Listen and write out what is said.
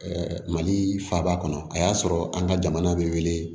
mali faaba kɔnɔ a y'a sɔrɔ an ka jamana bɛ wele